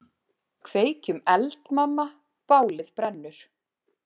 Kveikjum eld, mamma, bálið brennur.